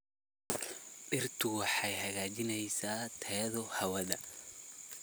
Dhirtu waxay hagaajiyaan tayada hawada.